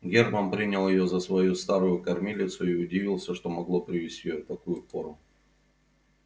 германн принял её за свою старую кормилицу и удивился что могло привести её в такую пору